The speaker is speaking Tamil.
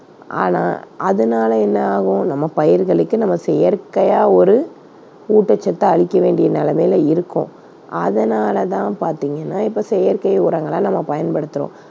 ஆனா அதனால என்ன ஆகும் நம்ம பயிர்களுக்கு நம்ம செயற்கையா ஒரு ஊட்டச்சத்தை அளிக்க வேண்டிய நிலைமையில இருக்கோம், அதனால தான் பார்த்தீங்கன்னா இப்ப செயற்கை உரங்களை நம்ம பயன்படுத்துறோம்.